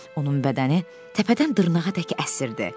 Onun bədəni təpədən dırnağadək əsirdi.